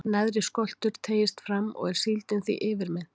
Neðri skoltur teygist fram, og er síldin því yfirmynnt.